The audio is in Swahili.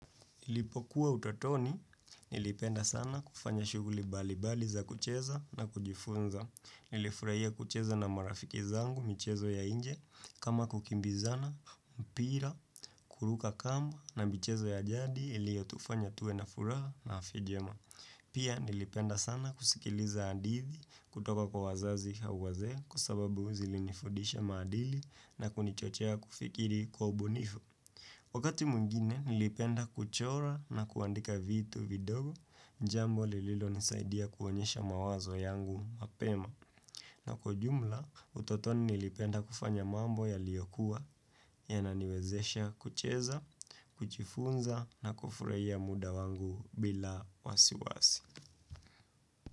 Nilipokuwa utotoni, nilipenda sana kufanya shughuli bali bali za kucheza na kujifunza. Nilifurahia kucheza na marafiki zangu, michezo ya nje, kama kukimbizana, mpira, kuruka kamba na michezo ya jadi iliyo tufanya tuwe na furaha na afya njema. Pia nilipenda sana kusikiliza hadithi kutoka kwa wazazi au wazee kwa sababu zili ni fundisha maadili na kunichochea kufikiri kwa ubunifu. Wakati mwingine nilipenda kuchora na kuandika vitu vidogo jambo lililo nisaidia kuonyesha mawazo yangu mapema. Na kujumla utotoni nilipenda kufanya mambo yaliyo kuwa yana niwezesha kucheza, kujifunza na kufurahia mda wangu bila wasiwasi.